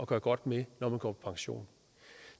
gøre godt med når man går på pension